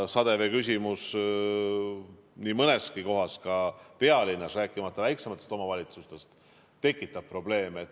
Sademevee küsimus nii mõneski kohas, ka pealinnas, rääkimata väiksematest omavalitsustest, tekitab probleeme.